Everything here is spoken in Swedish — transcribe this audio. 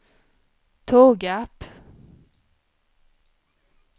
Tågarp